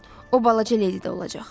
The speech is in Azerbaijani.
O balaca Ledi də olacaq.